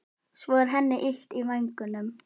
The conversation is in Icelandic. Svo er henni illt í vængnum.